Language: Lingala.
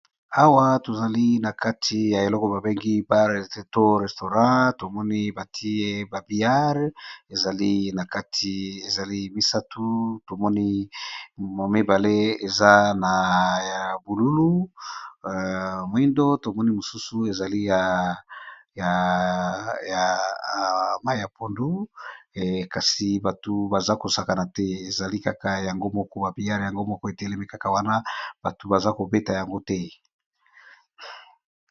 Awa tozali nakati ya eloko babengi bar et restaurant tomoni batye billard misatu tomoni mibale eza na langi ya bululu mwindu mosusu eza ya mayi ya pondu kasi batu baza kobeta yango te.